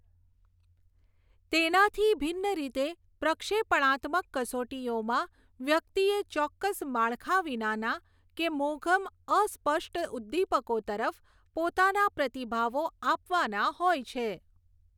તેનાથી ભિન્ન રીતે પ્રક્ષેપણાત્મક કસોટીઓમાં વ્યક્તિએ ચોક્કસ માળખા વિનાના કે મોઘમ અસ્પષ્ટ ઉદ્દીપકો તરફ પોતાના પ્રતિભાવો આપવાના હોય છે.